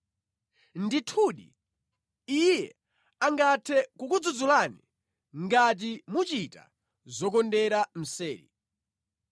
Ndithudi, Iye angathe kukudzudzulani ngati muchita zokondera mseri.